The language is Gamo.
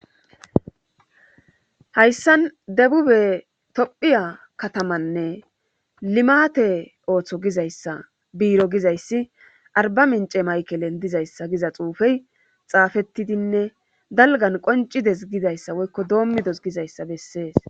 Hayssan debube tophiya katamanne limate ooththo gizayssa biiro gizayssi arbaminche mayken dizayssa giza xuufe xaafetidinne dalggan qonccidees gidayssa woykko domidos gidayssa besees.